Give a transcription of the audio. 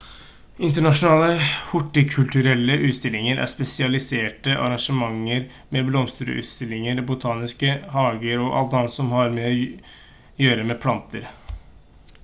internasjonale hortikulturelle utstillinger er spesialiserte arrangementer med blomsterutstillinger botaniske hager og alt annet som har å gjøre med planter